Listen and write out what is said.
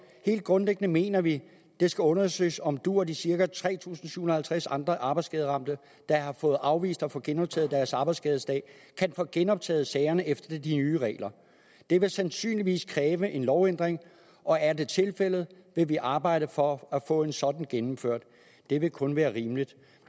helt grundlæggende mener vi at det skal undersøges om du og de cirka tre tusind syv hundrede og tres andre arbejdsskaderamte der har fået afvist at få genoptaget deres arbejdsskadesag kan få genoptaget sagerne efter de nye regler det vil sandsynligvis kræve en lovændring og er det tilfældet vil vi arbejde for at få en sådan gennemført det vil kun være rimeligt